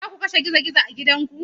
Za ku kashe gizo-gizo a gidanku?